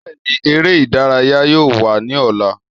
Bẹẹni, ere idaraya yoo wa ni ọla